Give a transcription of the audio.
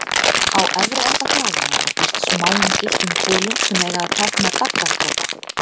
Á efri enda þráðanna er fest smáum gylltum kúlum, sem eiga að tákna daggardropa.